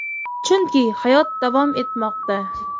Chunki hayot davom etmoqda.